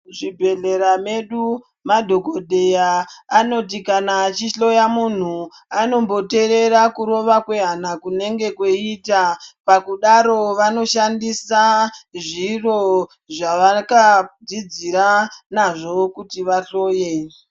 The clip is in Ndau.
Zvibhedhlera medu madhokodheya anoti kana achihloya muntu anomboteerera kurova kwehana kunenge kweiita. Pakudaro vanoshandisa zviro zvavakadzidzira nazvo kuti vahloye.